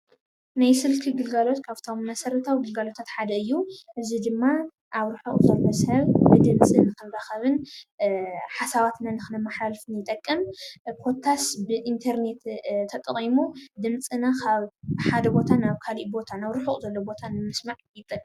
ናይ ስልኪ ግልጋሎት ካብቶም መሰረትዊ ግልጋሎታት ሓደ እዮም። እዙይ ድማ አብ ርሑቅ ዘሎ ሰብ ብድምፅን መራኸብን ሓሳባትና ንኽንመሓልላልፍ ይጠቅም ። ኮታስ ብኢንተርኔት ተጠቂሙ ድምፅና ካብ ሓደ ቦታ ናብ ካሊእ ቦታ ናብ ርሑቕ ቦታ ንምስማዕ ይጠቅም።